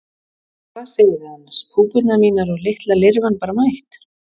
Hvað segið þið annars púpurnar mínar og litla lirfan bara mætt?